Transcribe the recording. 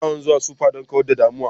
Ina yawan zuwa supa don kawar da damuwa